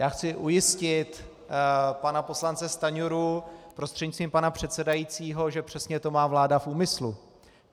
Já chci ujistit pana poslance Stanjuru prostřednictvím pana předsedajícího, že přesně to má vláda v úmyslu.